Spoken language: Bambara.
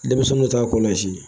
Denmisɛnninw t'a kɔlasi